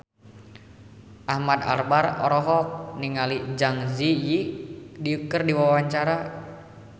Ahmad Albar olohok ningali Zang Zi Yi keur diwawancara